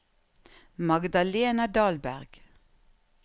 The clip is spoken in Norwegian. Magdalena Dahlberg